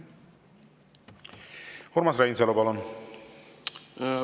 Urmas Reinsalu, palun!